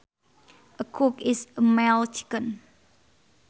A cock is a male chicken